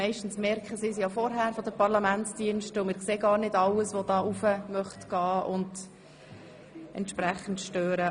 Meistens merken es die Parlamentsdienste vorher, und wir sehen gar nicht alle, die auf die Tribüne gehen wollen, um zu stören.